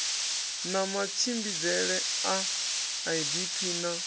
na matshimbidzele a idp na